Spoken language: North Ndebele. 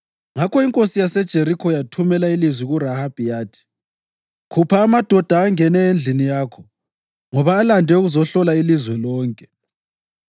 Ngakho inkosi yaseJerikho yathumela ilizwi kuRahabi yathi, “Khupha amadoda angene endlini yakho, ngoba alande ukuzohlola ilizwe lonke.”